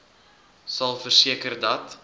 sal verseker dat